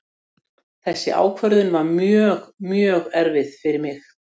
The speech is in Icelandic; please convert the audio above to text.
Þessi ákvörðun var mjög, mjög erfið fyrir mig.